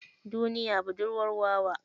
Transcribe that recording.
Duniya budurwar wawa.